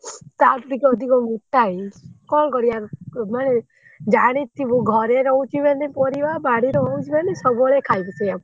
ତା ଠୁ ଟିକେ ଅଧିକ ମୋଟା ହେଇଯାଇଛି କଣ କରିଆ ଆଉ ମାନେ ଜାଣିଥିବୁ ଘରେ ରହୁଛି ମାନେ ପରିବା ବାଡିରେ ହଉଛି ମାନେ ସବୁବେଳେ ଖାଇବୁ ସେଇଆକୁ